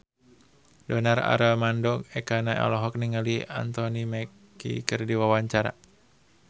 Donar Armando Ekana olohok ningali Anthony Mackie keur diwawancara